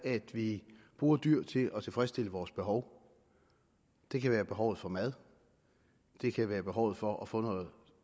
at vi bruger dyr til at tilfredsstille vores behov det kan være behovet for mad det kan være behovet for at få noget